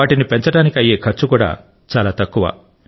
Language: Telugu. వాటిని పెంచడానికి అయ్యే ఖర్చు కూడా చాలా తక్కువ